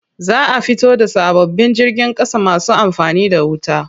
Za a fito da sababbin jirgin ƙasa masu amfani da wuta.